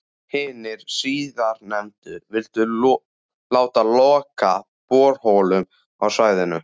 Hinir síðarnefndu vildu láta loka borholum á svæðinu.